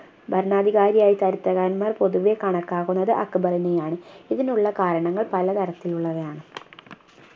ഭരണാധികാരിയായി ചരിത്രകാരന്മാർ പൊതുവെ കണക്കാക്കുന്നത് അക്ബറിനെയാണ് ഇതിനുള്ള കാരണങ്ങൾ പല തരത്തിലുള്ളവയാണ്